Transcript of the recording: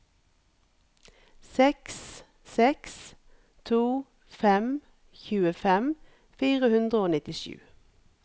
seks seks to fem tjuefem fire hundre og nittisju